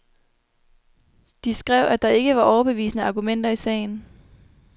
De skrev, at der ikke var overbevisende argumenter i sagen.